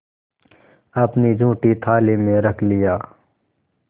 अपनी जूठी थाली में रख लिया